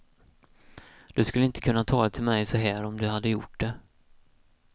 Du skulle inte kunna tala till mig så här om du hade gjort det.